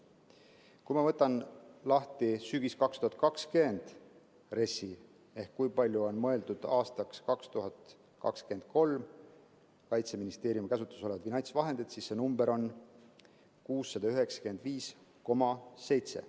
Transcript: Kui ma võtan lahti 2020. aasta sügise RES‑i ja vaatan, kui palju on mõeldud aastaks 2023 Kaitseministeeriumi käsutusse anda finantsvahendeid, siis see number on 695,7.